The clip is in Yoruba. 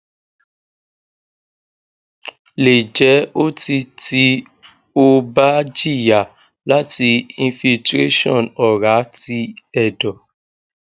le je oti ti o ba jiya lati infiltration ora ti edo